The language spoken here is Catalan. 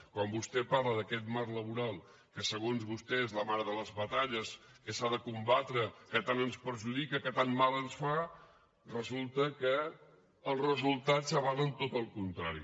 quan vostè parla d’aquest marc laboral que segons vostè és la mare de les batalles que s’ha de combatre que tant ens perjudica que tant mal ens fa resulta que els resultats avalen tot el contrari